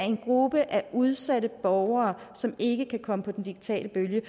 en gruppe af udsatte borgere som ikke kan komme med på den digitale bølge